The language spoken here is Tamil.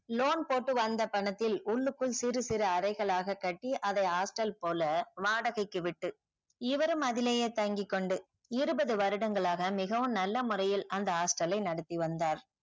loan போட்டு வந்த பணத்தில் உள்ளுக்குள் சிறு சிறு அறைகளாக கட்டி அதை hostel போல வாடகைக்கு விட்டு இவரும் அதுலேயே தங்கிக்கொண்டு இருபது வருடங்களாக மிகவும் நல்ல முறையில் அந்த hostel லை நடத்தி வந்தார்.